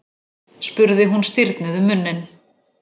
spurði hún stirðnuð um munninn.